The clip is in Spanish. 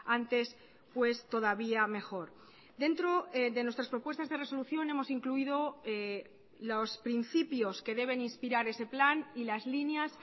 antes pues todavía mejor dentro de nuestras propuestas de resolución hemos incluído los principios que deben inspirar ese plan y las líneas